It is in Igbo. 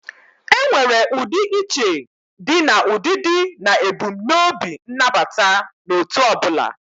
Enwere udi iche di na udidi na ebumnobi nabata n'otu obula.